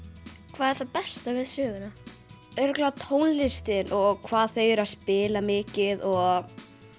hvað er það besta við söguna örugglega tónlistin og hvað þau eru að spila mikið og